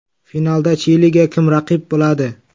Finalda Chiliga kim raqib bo‘ladi?